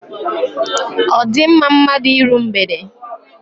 Ọ di mma mmadụ iru mgbede?